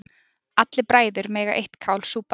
Allir bræður mega eitt kál súpa.